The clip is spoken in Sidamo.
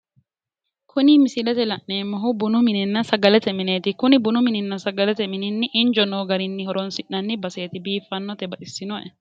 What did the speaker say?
Kuni misilete la'neemmohu bununna sagalete mineeeti. Bununna sagalete mini injo noosi garinni loosi'nanni baseeti. Biifaate. Baxissannoe.